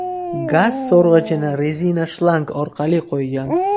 Gaz so‘rg‘ichni rezina shlang orqali qo‘ygan.